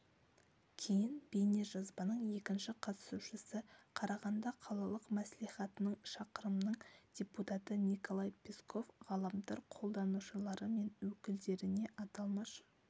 кейін бейнежазбаның екінші қатысушысы қарағанды қалалық мәслихатының шақырымның депутаты николай песков ғаламтар қолданушылары мен өкілдеріне аталмыш